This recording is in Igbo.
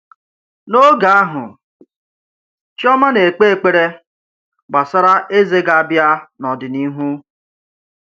N’oge ahụ, Chioma na-ekpe ekpere gbasara eze ga-abịa n’ọdịnihu.